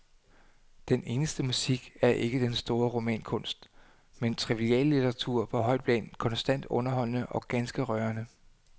Den eneste musik er ikke den store romankunst, men triviallitteratur på højt plan, konstant underholdende og ganske rørende.